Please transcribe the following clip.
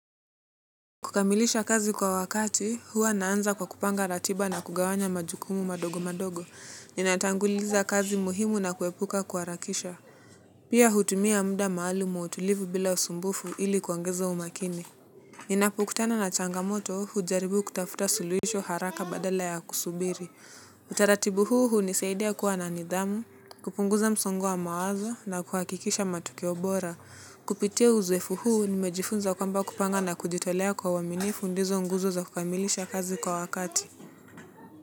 Kukamilisha kazi kwa wakati, huwa naanza kwa kupanga ratiba na kugawanya majukumu madogo madogo. Ninatanguliza kazi muhimu na kuepuka kuharakisha. Pia hutumia muda maalum wa utulivu bila usumbufu ili kuongeza umakini. Ninapokutana na changamoto hujaribu kutafuta suluhisho haraka badala ya kusubiri. Utaratibu huu hunisaidia kuwa na nidhamu, kupunguza msongo wa mawazo na kuhakikisha matukio bora. Kupitia uzoefu huu nimejifunza kwamba kupanga na kujitolea kwa uaminifu ndizo nguzo za kukamilisha kazi kwa wakati.